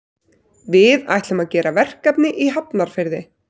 Við ætlum að gera verkefni í Hafnarfirði.